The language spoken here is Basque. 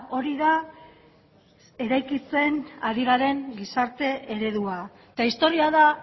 hori da eraikitzen ari garen gizarte eredua eta historia da